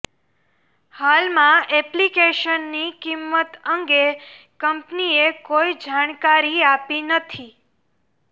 હાલમાં એપ્લિકેશનની કિંમત અંગે કંપનીએ કોઇ જાણકારી આપી નથી